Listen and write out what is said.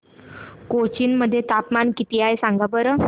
कोचीन मध्ये तापमान किती आहे सांगा बरं